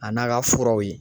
A n'a ka furaw ye